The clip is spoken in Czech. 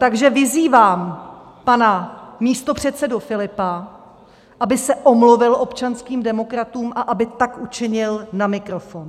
Takže vyzývám pana místopředsedu Filipa, aby se omluvil občanským demokratům a aby tak učinil na mikrofon.